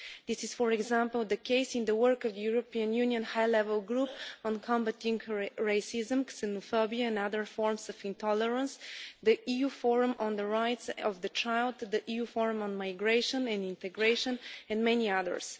This is, for example, the case in the work of the European Union High Level Group on combating racism, xenophobia and other forms of intolerance, the EU Forum on the rights of the child, the EU Forum on migration and integration, and many others.